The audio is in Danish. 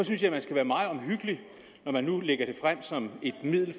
synes jeg man skal være meget omhyggelig når man nu lægger det frem som et middel